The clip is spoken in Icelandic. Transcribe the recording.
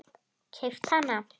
Keypt hana?